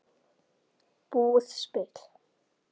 Búið spil.